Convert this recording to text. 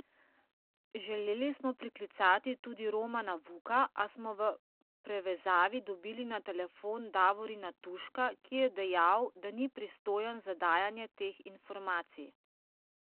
Želeli smo priklicati tudi Romana Vuka, a smo v prevezavi dobili na telefon Davorina Tuška, ki je dejal, da ni pristojen za dajanje teh informacij.